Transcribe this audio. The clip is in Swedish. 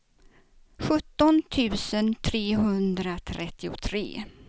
sjutton tusen trehundratrettiotre